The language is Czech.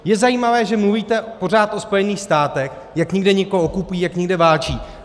Je zajímavé, že mluvíte pořád o Spojených státech, jak někde někoho okupují, jak někde válčí.